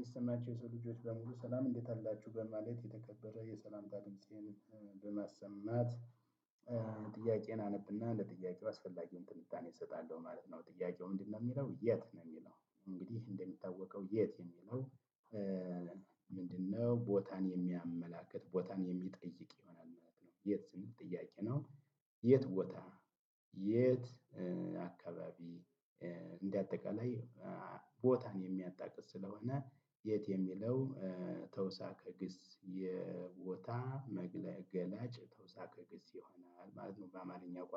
የሰማቸው የሰው ልጆች በሙሉ ሰላም እንዴት አላችሁም ማለት የተከበረ የሰላም ጣቢያን በማሰማት በመስማት ጥያቄን አነብና ለጥያቄው አስፈላጊውን ትንታኔ እሰጣለሁ ማለት ነው። ጥያቄው ምንድነው? የሚለው የት ነው የሚለው እንግዲህ እንደሚታወቀው የት የሚለው? ምንድነው ቦታን የሚያመላክት ቦታን የሚጠይቅ ይሆናል የት ዝም ጥያቄ ነው። የት ቦታ የት አካባቢ እንደአጠቃላይ ቦታን። ሀጇ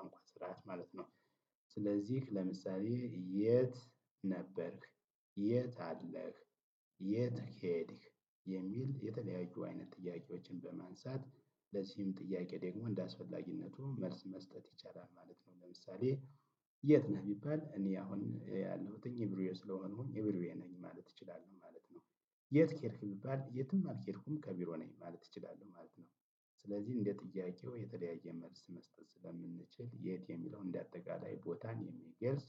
ኦአኦኤ ሀህአህ ስለዚህ ለምሳሌ የት አለ የት ሄድክ? ለዚህም ጥያቄ ደግሞ እንደአስፈላጊነቱ መልስ መስጠት ይቻላል ማለት ነው። ለምሳሌ የት ነህ? ቢባል እኔ አሁን ያለሁትኝ ኢቭሪዌ ስለሆንኩኝ ኢቭሪዌ ነኝ ማለት እችላለሁ ማለት ነው። የት ሄድክ ቢባል የትም አልሄድኩም ከቢሮ ነኝ ማለት እችላለሁ ማለት ነው። ስለዚህ እንደ ጥያቄው የተለያየ መልስ መስጠት ስለምንችል የት የሚለውን እንደ አጠቃላይ ቦታን የሚገልጽ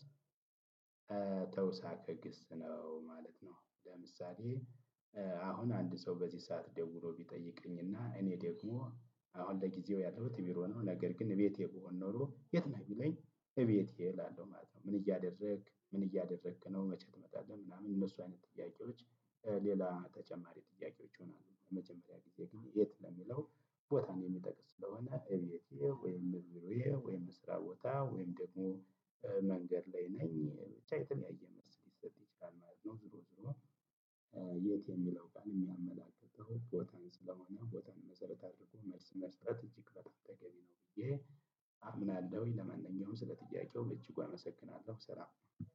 እግስ ነው ማለት ነው። ለምሳሌ አሁን አንድ ሰው በዚህ ሰዓት ደውሎ ቢጠይቀኝና እኔ ደግሞ አሁን ለጊዜው ያለሁት ቢሮ ነው። ነገር ግን እቤቴ ብሆን ኖሮ የት ነህ ቢለኝ? እቤቴ እላለሁ ማለት ነው። ምን እያደረክ ምን እያደረክ ነው? መቼ ትመጣለህ? ምናምን እነሱ አይነት ጥያቄዎች ሌላ ተጨማሪ ጥያቄዎች ይሆናሉ። መጀመሪያ ጊዜ ግን የት ለሚለው ቦታን የሚጠቅስ ስለሆነ እቤቴ ወይም ቢሮዬ ወይም ስራ ቦታ ወይም ደግሞ መንገድ ላይ ነኝ ብቻ የተለያየ መስሪት ሰጥቼ ቃል ማለት ነው። ዝሮ ዝሮ የት የሚለው ቃል የሚያመላክት ቦታን ስለሆነ ቦታን መሰረት አድርጎ መልስ መስጠት እጅግ በጣም ተገቢ ነው። ብዬ አምናለሁኝ ለመናኛውም ስለ ጥያቄው መቼኩ አመሰግናለሁ ስራ።